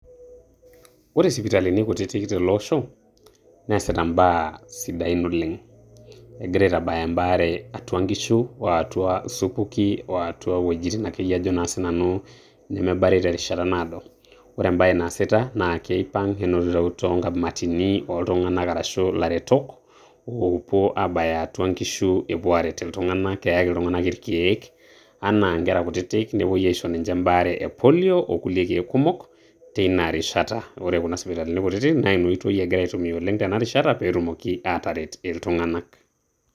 ore sipitalini kutitik tele osho neasita mbaa sidain oleng, egira aitabaya embaare atua nkishu oo atua supuki oo atua wuejitin ajo sinanu nemebari tenkata naado ,ore embae naasita naa keipang enotito tonkamatini arashu illaretok opuo abayaatua nkishu epuo areet iltung'anak peaki iltung'ának ilkeek ankera kutitik nepuoi aishoo embaare epolio olkulie keek teina rishata wore sipitalini kutitik naa inoitoi itumiya tinarishata ataret iltung'anak